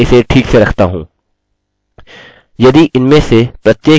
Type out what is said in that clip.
अन्यथा मैं अपने पासवर्ड की लम्बाई को जाँचने के लिए आगे बढूँगा